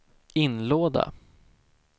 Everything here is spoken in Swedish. inlåda